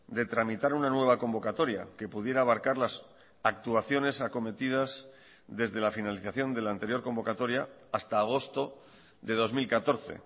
de tramitar una nueva convocatoria que pudiera abarcar las actuaciones acometidas desde la finalización de la anterior convocatoria hasta agosto de dos mil catorce